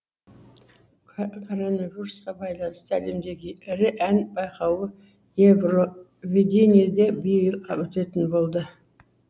коронавирусқа байланысты әлемдегі ірі ән байқауы евровидение де биыл өтетін болды